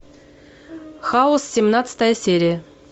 хаус семнадцатая серия